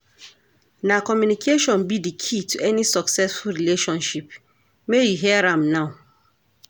Na communication be di key to any successful relationship, make you hear am now.